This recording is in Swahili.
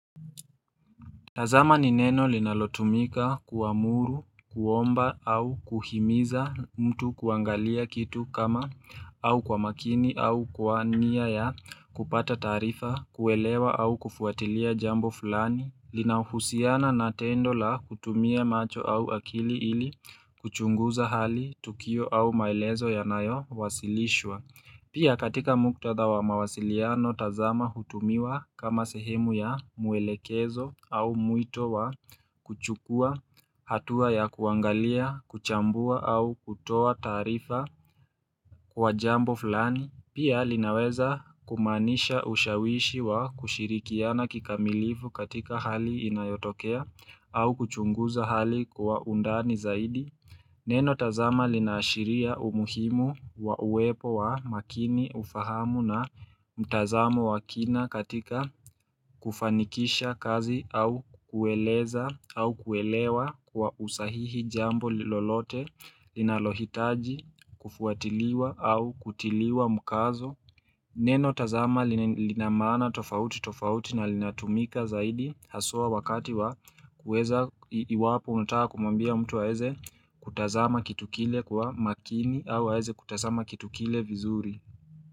Tazama nineno linalotumika kuamuru, kuomba au kuhimiza mtu kuangalia kitu kama au kwa makini au kwa niya ya kupata taarifa, kuwelewa au kufuatilia jambo fulani, linahusiana na tendola kutumia macho au akili ili kuchunguza hali tukio au maelezo ya nayo wasilishwa. Pia katika muktadha wa mawasiliano tazama hutumiwa kama sehemu ya muelekezo au muito wa kuchukua hatua ya kuangalia, kuchambua au kutoa taarifa kwa jambo fulani Pia linaweza kumanisha ushawishi wa kushirikiana kikamilifu katika hali inayotokea au kuchunguza hali kwa undani zaidi Neno tazama linaashiria umuhimu wa uwepo wa makini ufahamu na mtazamo wa kina katika kufanikisha kazi au kueleza au kuelewa kwa usahihi jambo lilolote linalohitaji kufuatiliwa au kutiliwa mukazo. Neno tazama linamana tofauti tofauti na linatumika zaidi haswa wakati wa kuweza iwapo unataka kumwambiaa mtu waeze kutazama kitukile kwa makini au waeze kutazama kitukile vizuri.